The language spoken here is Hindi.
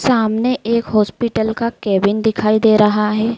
सामने एक हॉस्पिटल का केबिन दिखाई दे रहा है।